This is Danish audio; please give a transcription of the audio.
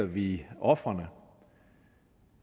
vi ofrene